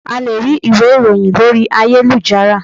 A lè rí ìwé ìròhìn lórí ayélujára.